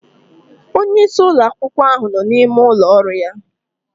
Onye isi ụlọ akwụkwọ ahụ nọ n'ime ụlọ ọrụ ya